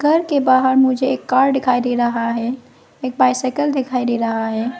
घर के बाहर मुझे एक कार डिखाई दे रहा है एक बाइसिकल दिखाई दे रहा है।